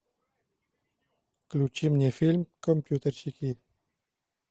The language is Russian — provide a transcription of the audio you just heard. включи мне фильм компьютерщики